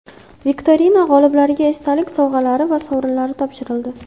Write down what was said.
Viktorina g‘oliblariga esdalik sovg‘alari va sovrinlar topshirildi.